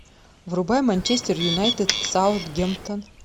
врубай манчестер юнайтед саутгемптон